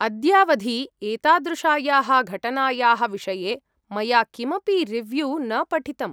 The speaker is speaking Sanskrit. अद्यावधि एतादृशायाः घटनायाः विषये मया किमपि रिव्यू न पठितम्।